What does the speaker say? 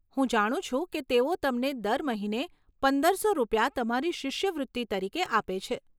હું જાણું છું કે તેઓ તમને દર મહિને પંદરસો રૂપિયા તમારી શિષ્યવૃત્તિ તરીકે આપે છે.